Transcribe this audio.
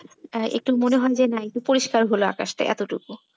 একটু মনে হল যে না একটু পরিষ্কার হলো আকাশটা এতোটুকু।